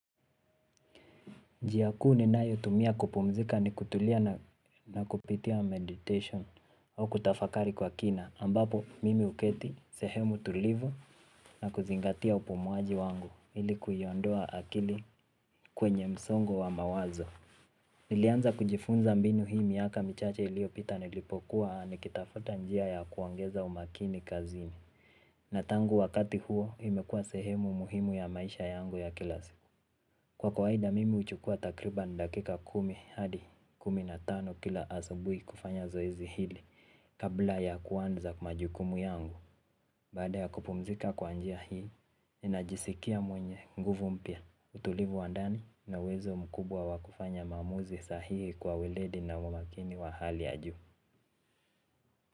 Njia kuu ninayo tumia kupumzika ni kutulia na kupitia meditation au kutafakari kwa kina ambapo mimi huketi sehemu tulivu na kuzingatia upumuaji wangu ili kuiondoa akili kwenye msongo wa mawazo. Nilianza kujifunza mbinu hii miaka michache ilio pita nilipokuwa ni kitafuta njia ya kuongeza umakini kazini na tangu wakati huo imekua sehemu muhimu ya maisha yangu ya kila siku. Kwa kawaida mimi huchukua takribani dakika kumi hadi kumi hadi kumi na tano kila asubuhi kufanya zoezi hili kabla ya kwanza majukumu yangu. Baada ya kupumzika kwa njia hii, ninajisikia mwenye nguvu mpya utulivu wa ndani na uwezo mkubwa wa kufanya maamuzi sahihi kwa weledi na umakini wa hali ya juu.